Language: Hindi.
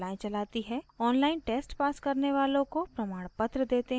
online test pass करने वालों को प्रमाणपत्र देते हैं